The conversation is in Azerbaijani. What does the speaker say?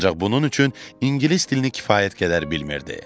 Ancaq bunun üçün ingilis dilini kifayət qədər bilmirdi.